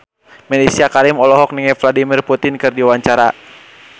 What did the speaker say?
Mellisa Karim olohok ningali Vladimir Putin keur diwawancara